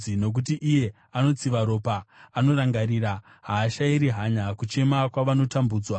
Nokuti iye anotsiva ropa anorangarira; haashayiri hanya kuchema kwavanotambudzwa.